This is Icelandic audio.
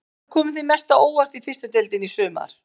Hvað hefur komið þér mest á óvart í fyrstu deildinni í sumar?